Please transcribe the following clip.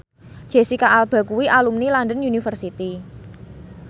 Jesicca Alba kuwi alumni London University